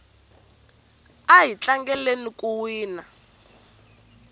ahi tlangela ku wina